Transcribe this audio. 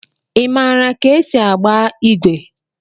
Ị maara ka esi agba igwe?